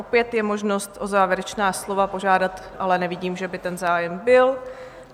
Opět je možnost o závěrečná slova požádat, ale nevidím, že by ten zájem byl.